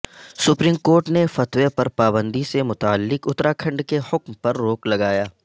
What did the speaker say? supreme court نے فتوی پر پابندی سے متعلق اتراکھنڈ کے حکم پرروک لگایا